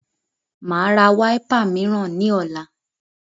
Màá ra wiper mìíràn ní ọ̀la